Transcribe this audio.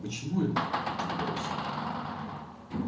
почему это удивляюсь я